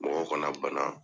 Mɔgɔw kana bana